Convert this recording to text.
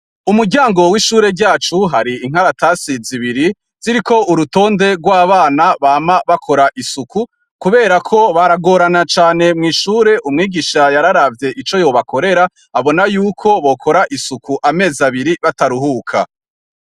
Ku muryango w'ishure ryacu hari inkaratasi zibiri ziriko urutonde rw'abana bama bakora isuku kibera ko baragorana cane mw'ishure umwigisha yararavye ico yobakorera abona yuko bokora isuku amezi abiri bataruhuka.